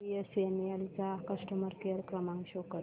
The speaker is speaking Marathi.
बीएसएनएल चा कस्टमर केअर क्रमांक शो कर